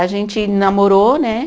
A gente namorou, né?